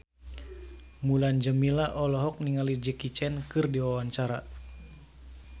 Mulan Jameela olohok ningali Jackie Chan keur diwawancara